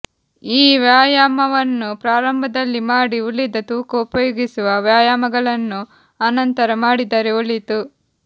ಈ ವ್ಯಾಯಾಮವನ್ನು ಪ್ರಾರಂಭದಲ್ಲಿ ಮಾಡಿ ಉಳಿದ ತೂಕ ಉಪಯೋಗಿಸುವ ವ್ಯಾಯಾಮಗಳನ್ನು ಅನಂತರ ಮಾಡಿದರೆ ಒಳಿತು